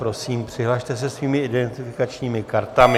Prosím, přihlaste se svými identifikačními kartami.